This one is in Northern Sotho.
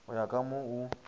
go ya ka mo o